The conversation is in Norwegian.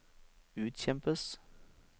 utkjempes